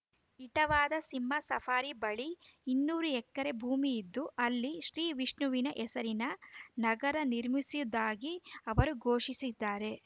ಇಟಾವಾದ ಸಿಂಹ ಸಫಾರಿ ಬಳಿ ಇನ್ನೂರು ಎಕರೆ ಭೂಮಿಯಿದ್ದು ಅಲ್ಲಿ ಶ್ರೀವಿಷ್ಣುವಿನ ಹೆಸರಿನ ನಗರ ನಿರ್ಮಿಸುವುದಾಗಿ ಅವರು ಘೋಷಿಸಿದ್ದಾರೆ